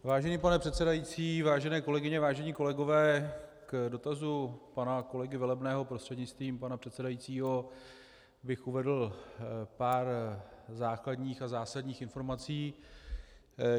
Vážený pane předsedající, vážené kolegyně, vážení kolegové, k dotazu pana kolegy Velebného prostřednictvím pana předsedajícího bych uvedl pár základních a zásadních informací.